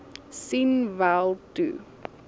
sien wel toe